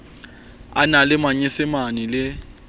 a na le manyesemane le